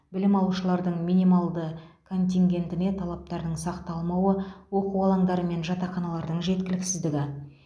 білім алушылардың минималды контингентіне талаптардың сақталмауы оқу алаңдары мен жатақханалардың жеткіліксіздігі